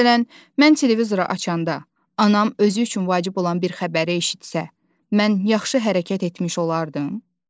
Məsələn, mən televizoru açanda, anam özü üçün vacib olan bir xəbəri eşitsə, mən yaxşı hərəkət etmiş olardım?